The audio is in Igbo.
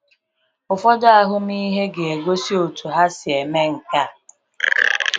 Ụfọdụ ahụmịhe ga-egosi otú ha si eme nke a.